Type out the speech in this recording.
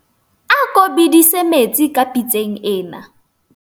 ako bedise metsi ka pitseng ena